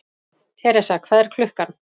Theresa, hvað er klukkan?